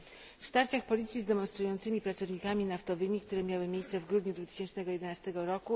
Po starciach policji z demonstrującymi pracownikami naftowymi, które miały miejsce w grudniu 2011 r.,